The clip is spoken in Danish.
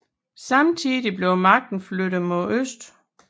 Samtidig blev magten flyttet mod øst